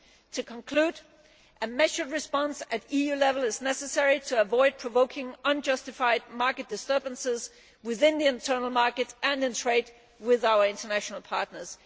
To conclude, a measured response at EU level is necessary to avoid provoking unjustified market disturbances within the internal market and in trade with our international partners.